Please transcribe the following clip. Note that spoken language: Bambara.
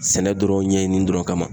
Sɛnɛ dɔrɔn ɲɛɲini dɔrɔn kama.